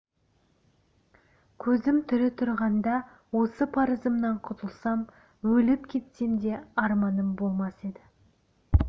көзім тірі тұрғанда осы парызымнан құтылсам өліп кетсем де арманым болмас еді